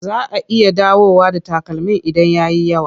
Za a iya dawowa da takalmin idan ya yi yawa.